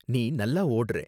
நீ நல்லா ஓடுறே.